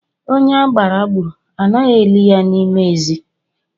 Onye agbara gburu, anaghị eli ya n'ime ezi